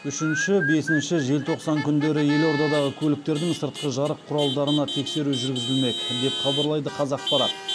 үшінші бесінші желтоқсан күндері елордадағы көліктердің сыртқы жарық құралдарына тексеру жүргізілмек деп хабарлайды қазақпарат